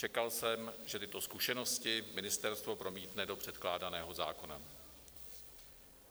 Čekal jsem, že tyto zkušenosti ministerstvo promítne do předkládaného zákona.